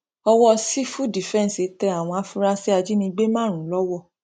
owó sífù dìfẹǹsì tẹ àwọn afurasí ajínigbé márùnún lọwọ